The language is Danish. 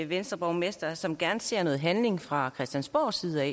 venstreborgmester som gerne ser noget handling fra christiansborgs side